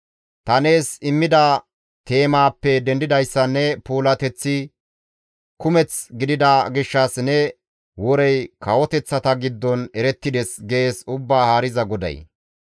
Ta nees immida teemaappe dendidayssan ne puulateththi kumeth gidida gishshas ne worey kawoteththata giddon erettides» gees Ubbaa Haariza GODAY.